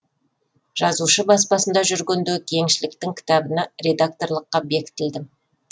жазушы баспасында жүргенде кеңшіліктің кітабына редакторлыққа бекітілдім